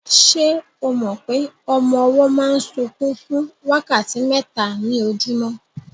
Se o mọ pé ọmọ ọwọ́ máa ń sunkún fún wákàtí mẹ́ta ní ojúmọ́?